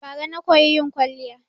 Bara na koyi yin kwaliya